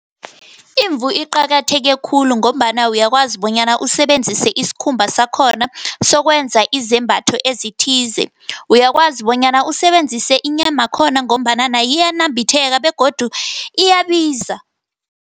Izimvu iqakatheke khulu, ngombana uyakwazi bonyana usebenzise isikhumba sakhona, sokwenza izembatho ezithize. Uyakwazi bonyana usebenzise inyama yakhona, ngombana nayo iyanambitheka, begodu iyabiza.